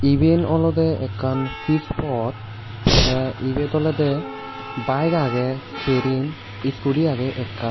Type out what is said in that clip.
eben olode ekkan pitch pot te ebet olode bike agey serin scooty agey ekkan.